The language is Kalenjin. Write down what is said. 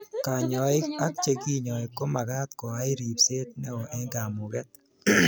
Kanyoik ak chekinyoi komakat koai ripset neo eng kamuget